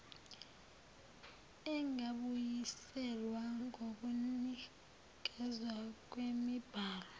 engabuyiselwa yokunikezwa kwemibhalo